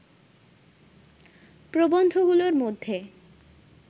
প্রবন্ধগুলোর মধ্যে